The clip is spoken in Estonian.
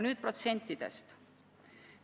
Nüüd protsentidest.